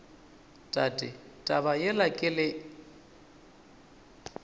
tate taba yela ke le